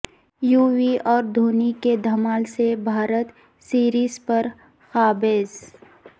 یووی اور دھونی کے دھمال سے بھارت سریز پر قابض